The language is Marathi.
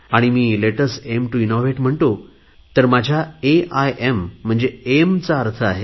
आणि मी let us AEM TO innovate म्हणतो तर माझ्या एईएम चा अर्थ आहे